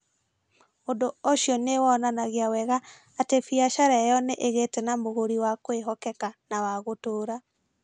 Ũndũ ũcio nĩ wonanagia wega atĩ biacara ĩyo nĩ ĩgĩte na mũgũri wa kwĩhokeka na wa gũtũũra.